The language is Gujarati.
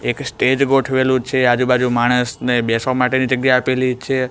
એક સ્ટેજ ગોઠવેલુ છે આજુ બાજુ માણસને બેસવા માટેની જગ્યા આપેલી છે.